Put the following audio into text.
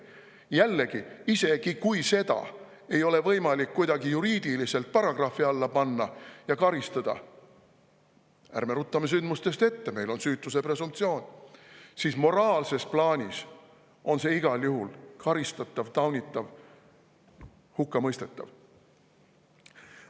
Jällegi, isegi kui seda ei ole võimalik kuidagi juriidiliselt paragrahvi alla panna ja karistada – ärme ruttame sündmustest ette, meil on süütuse presumptsioon –, siis moraalses plaanis on see igal juhul karistatav, taunitav ja hukkamõistetav.